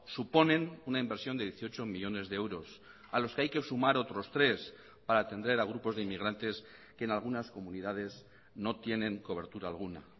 suponen una inversión de dieciocho millónes de euros a los que hay que sumar otros tres para atender a grupos de inmigrantes que en algunas comunidades no tienen cobertura alguna